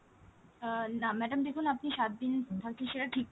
আহ না madam দেখুন আপনি সাত দিন থাকছেন সেটা ঠিক কথা,